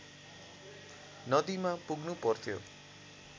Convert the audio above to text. नदीमा पुग्नुपर्थ्यो